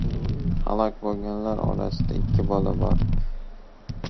Halok bo‘lganlar orasida ikki bola bor.